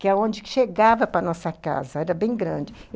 que é onde chegava para a nossa casa, era bem grande.